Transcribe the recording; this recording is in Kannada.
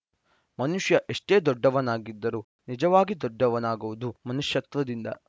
ಮನುಷ್ಯ ಎಷ್ಟೇ ದೊಡ್ಡವನಾಗಿದ್ದರೂ ನಿಜವಾಗಿ ದೊಡ್ಡವನಾಗುವುದು ಮನುಷ್ಯತ್ವದಿಂದ